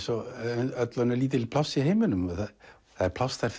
og öll önnur lítil pláss í heiminum það er pláss þar